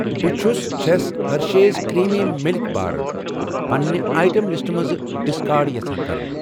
بہٕ چھس چھَس ہرٔشیز کرٛیٖمی مِلک بار پنِنہِ آیٹم لسٹہٕ منٛز ڈسکارڑ یژھان کرُن